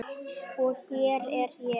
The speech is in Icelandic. Og hér er ég.